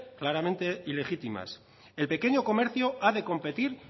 claramente ilegítimas el pequeño comercio ha de competir